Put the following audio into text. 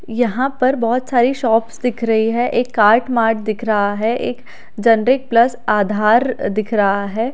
यहां पर बहुत सारी शॉप्स दिख रही है एक कार्ट मार्ट दिख रहा है एक जनरिक प्लस आधार दिख रहा है।